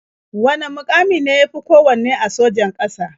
Wane muƙami ne ya fi kowanne a sojan ƙasa?